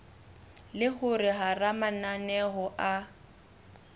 le hore hara mananeo a